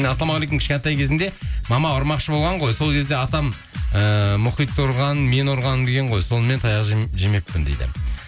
ассалаумағалейкум кішкентай кезімде мама ұрмақшы болған ғой сол кезде атам ііі мұхитты ұрған мені ұрған деген ғой сонымен таяқ жемеппін дейді